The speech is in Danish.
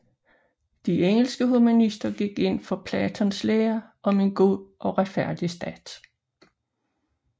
De engelske humanister gik ind for Platons lære om en god og retfærdig stat